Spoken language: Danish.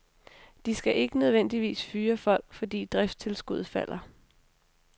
De skal ikke nødvendigvis fyre folk, fordi driftstilskuddet falder.